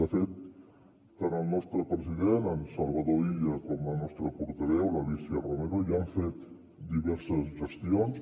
de fet tant el nostre president en salvador illa com la nostra portaveu l’alícia romero ja han fet diverses gestions